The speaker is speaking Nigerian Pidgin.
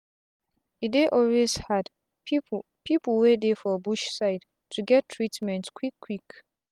e dey always hard pipu pipu wey dey for bush side to get treatment quick quick